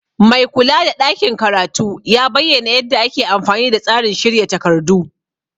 Maikula da ɗakin karatu ya bayyana yadda ake amfani da tsarin shirya takardu.